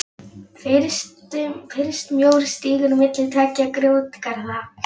Fyrst mjór stígur milli tveggja grjótgarða.